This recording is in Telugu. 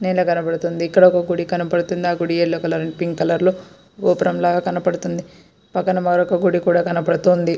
నేల కనపడుతూ ఉంది. ఇక్కడ ఒక గుడి కనబడుతుంది. గుడి ఎల్లో కలర్ అంటే పింక్ కలర్ లో ఒక గోపురం లాగా కనపడుతుంది. పక్కన మరొక గుడి కూడా కనబడుతుంది.